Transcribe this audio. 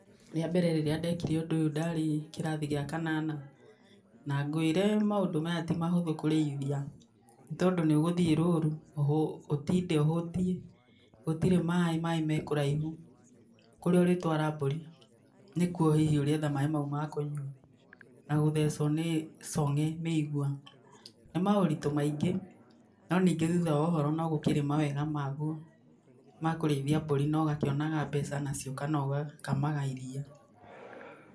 Rĩa mbere rĩrĩa ndekire ũndũ ũyũ ndarĩ kĩrathi gĩa kanana na ngwĩre maũndũ maya ti mahũthũ kũrĩithia, tondũ nĩ ũgũthiĩ rũũru ũtinde ũhũtiĩ, gũtirĩ maaĩ, maaĩ me kũraihu, kũrĩa ũrĩtwara mbũri nĩ kuo hihi ũrĩetha maaĩ mau ma kũnyua na gũthecwo nĩ cong'e, mĩigua. Nĩ maũritũ maingĩ, no ningĩ thutha wa ũhoro no gũkĩrĩ mawega maguo ma kũrĩithia mbũri na ũgakĩonaga mbeca nacio kana ũgakamaga iria.